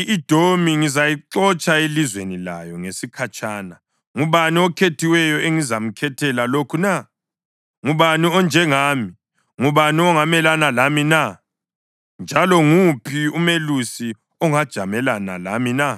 i-Edomi ngizayixotsha elizweni layo ngesikhatshana. Ngubani okhethiweyo engizamkhethela lokhu na? Ngubani onjengami, ngubani ongamelana lami na? Njalo nguphi umelusi ongajamelana lami na?”